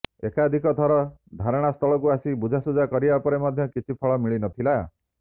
ଏକାଧିକ ଥର ଧାରଣା ସ୍ଥଳକୁ ଆସି ବୁଝାସୁଝା କରିବା ପରେ ମଧ୍ୟ କିଛି ଫଳ ମିଳି ନ ଥିଲା